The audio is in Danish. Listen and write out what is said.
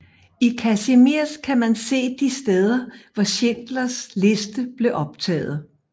I Kazimierz kan man se de steder hvor Schindlers liste blev optaget